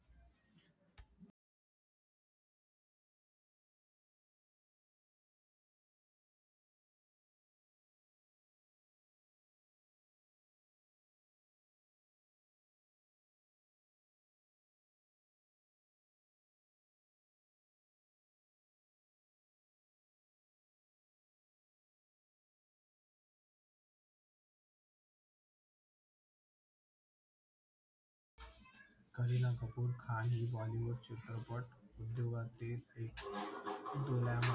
करीना कपूर खान ही बॉलीवूड चित्रपट उद्योगातील एक डोळ्या मध्ये